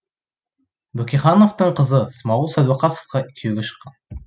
бөкейхановтың қызы смағұл сәдуақасовқа күйеуге шыққан